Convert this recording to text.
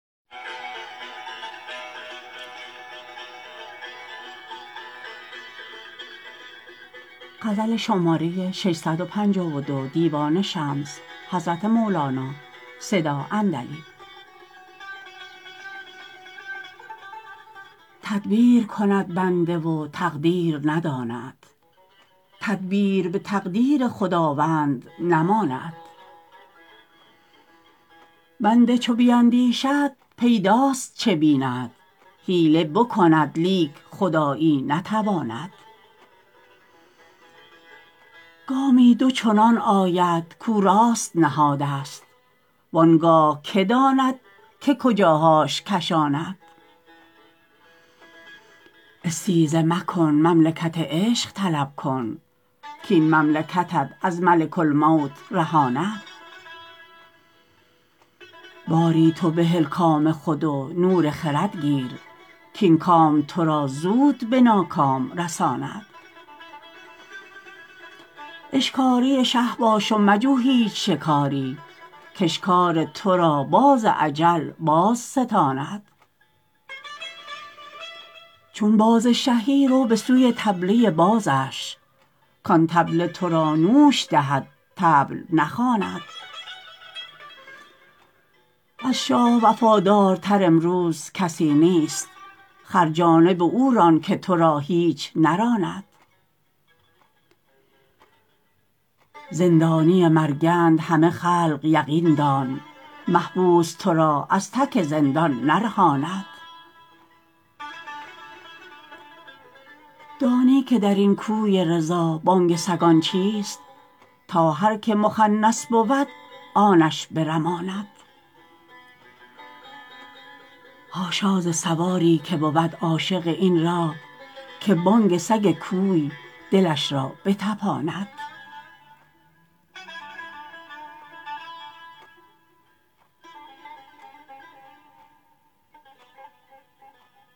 تدبیر کند بنده و تقدیر نداند تدبیر به تقدیر خداوند نماند بنده چو بیندیشد پیداست چه بیند حیله بکند لیک خدایی نتواند گامی دو چنان آید کو راست نهادست وان گاه که داند که کجاهاش کشاند استیزه مکن مملکت عشق طلب کن کاین مملکتت از ملک الموت رهاند باری تو بهل کام خود و نور خرد گیر کاین کام تو را زود به ناکام رساند اشکاری شه باش و مجو هیچ شکاری کاشکار تو را باز اجل بازستاند چون باز شهی رو به سوی طبله بازش کان طبله تو را نوش دهد طبل نخواند از شاه وفادارتر امروز کسی نیست خر جانب او ران که تو را هیچ نراند زندانی مرگند همه خلق یقین دان محبوس تو را از تک زندان نرهاند دانی که در این کوی رضا بانگ سگان چیست تا هر که مخنث بود آن اش برماند حاشا ز سواری که بود عاشق این راه که بانگ سگ کوی دلش را بطپاند